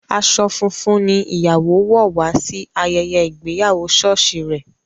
Aṣọ funfun ní ìyàwó wò wá sí ayẹyẹ ìgbéyàwó sọ́ọ̀sì rè.